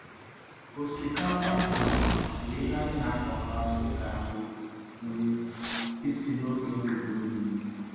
Osikapa na agwa bụ ihe anyị na-akọkarị dịka nri nri isi n’oge udu mmiri.